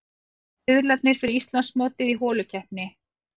Riðlarnir fyrir Íslandsmótið í holukeppni